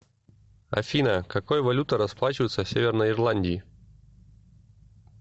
афина какой валютой расплачиваются в северной ирландии